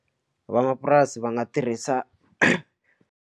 Va mapurasi va nga tirhisa.